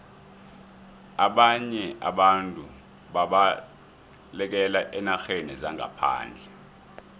ababnye abantu babalekela eenarheni zangaphandle